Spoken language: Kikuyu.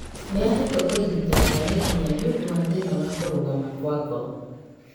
Nĩahetwo ũrigitani wa naihenya nĩũndũ wa thĩna wa kũrũgama kwa ngoro